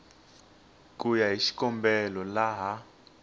ku ya hi xikombelo laha